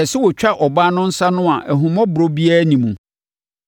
ɛsɛ sɛ wɔtwa ɔbaa no nsa no a ahummɔborɔ biara nni mu.